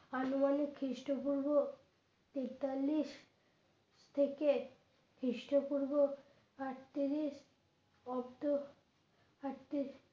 আনুমানিক খ্রিস্টপূর্ব তেতালিশ থেকে খ্রিস্টপূর্ব অটত্রিশ অব্দ আটত্রি